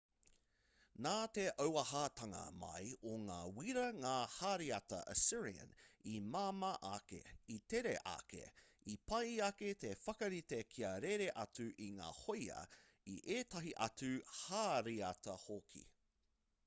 nā te auahatanga mai o ngā wīra ngā hāriata assyrian i māmā ake i tere ake i pai ake te whakarite kia rere atu i ngā hōia i ētahi atu hāriata hoki